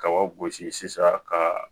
Kaba gosi sisan ka